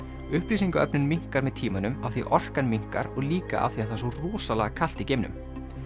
upplýsingaöflun minnkar með tímanum af því orkan minnkar og líka af því það er svo rosalega kalt í geimnum